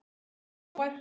Og alltaf hógvær.